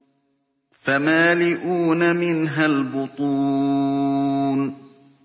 فَمَالِئُونَ مِنْهَا الْبُطُونَ